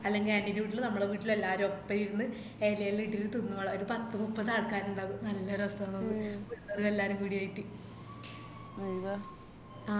അല്ലെങ്കില് aunty ൻറെ വീട്ടിലോ നമ്മളെ വീട്ടിലോ എല്ലാരും ഒപ്പരിരുന്ന് എലെല്ലാം ഇട്ടിറ്റ് തിന്നോളാ ഒര് പത്ത് മുപ്പത് ആൾക്കരിണ്ടാവും നല്ലരസണ് പിള്ളരും എല്ലാരും കൂടിയായിറ്റ് ആ